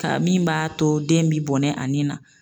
Ka min b'a to den bɛ bɔnɛ a nin na.